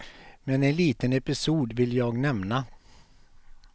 Men en liten episod vill jag nämna.